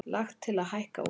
Lagt til að hækka útsvar